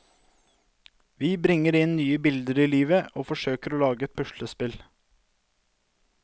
Vi bringer inn nye bilder i livet og forsøker å lage et puslespill.